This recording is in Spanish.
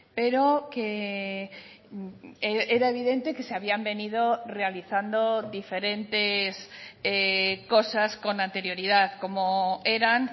pero que era evidente que se habían venido realizando diferentes cosas con anterioridad como eran